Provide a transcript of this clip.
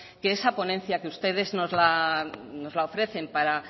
que esa ponencia que ustedes nos la ofrecen para